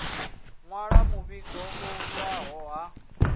nwala muvhigo u yaho ha